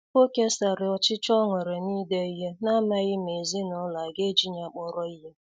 O kesara ọchịchọ ọ nwere na-ide ihe, namaghi ma ezinụlọ a ga-eji ya kpọrọ ihe.